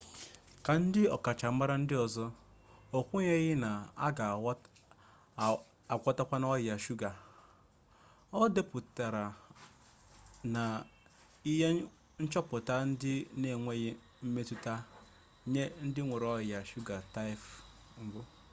ka ndị ọkachamara ndị ọzọ o kwenyeghị na a ga agwọtanwu ọrịa shuga o depụtara na ihe nchọpụta ndị a enweghị mmetụta nye ndị nwere ọrịa shuga taịp 1